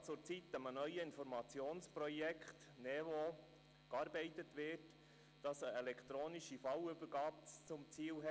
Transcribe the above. Derzeit wird an dem neuen Informationsprojekt NeVo gearbeitet, das eine elektronische Fallübergabe zum Ziel hat.